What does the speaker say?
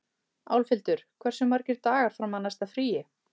Álfhildur, hversu margir dagar fram að næsta fríi?